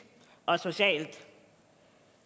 og socialt